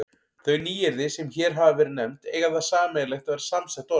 Þau nýyrði, sem hér hafa verið nefnd, eiga það sameiginlegt að vera samsett orð.